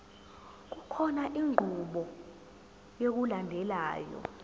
kukhona inqubo yokulandelayo